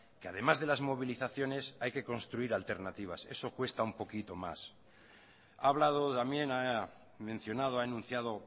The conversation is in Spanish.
que además de las movilizaciones hay que construir alternativas eso cuesta un poquito más ha hablado también ha mencionado ha anunciado